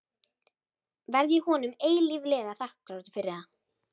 Verð ég honum eilíflega þakklátur fyrir það.